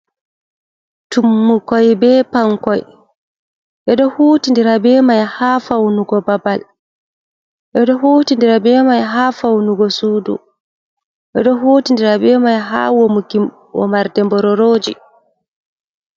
Tummukoi be Pankoi: Ɓedo hutindira bemai ha faunugo babal, ɓeɗo hutindira be mai ha faunugo sudu, ɓeɗo huti ndira be mai ha womuki womarde mbororoji.